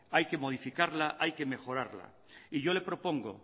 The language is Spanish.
hay que modificarla hay que mejorarla y yo le propongo